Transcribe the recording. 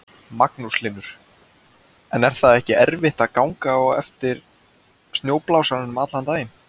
Magnús Hlynur: En er það ekki erfitt að ganga á eftir snjóblásaranum allan daginn?